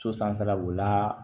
So sanfɛla b'o la